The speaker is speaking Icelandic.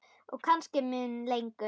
Og kannski mun lengur.